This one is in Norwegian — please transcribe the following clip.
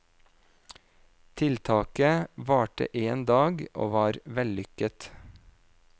Tiltaket varte en dag, og var vellykket.